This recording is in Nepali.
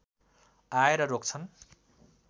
आएर रोक्छन्